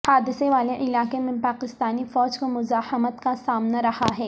حادثے والے علاقے میں پاکستانی فوج کو مزاحمت کا سامنا رہا ہے